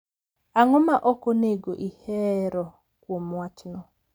Ang’o ma ok onego ihero kuom wachno?